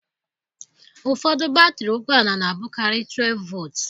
Ụfọdụ batrị ụgbọ ala na-abụkarị 12 volts.